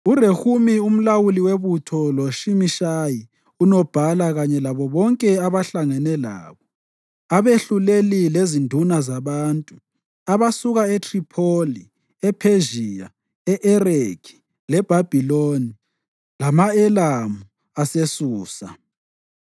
URehumi umlawuli webutho loShimishayi unobhala kanye labo bonke abahlangene labo, abehluleli lezinduna zabantu abasuka eThripholi, ePhezhiya, e-Ereki leBhabhiloni lama-Elamu aseSusa,